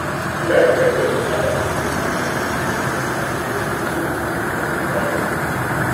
ilà ìgbékèlé dáàbò bo àkáǹtì pẹ̀lú àṣẹ ìwé òfin ìfọkànbalẹ̀.